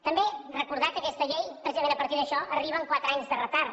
també recordar que aquesta llei precisament a partir d’això arriba amb quatre anys de retard